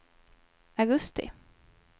augusti